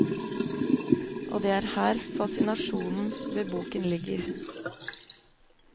Og det er her fascinasjonen ved boken ligger.